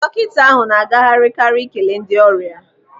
Dọkịta ahụ na agagharị karị ikele ndị ọrịa.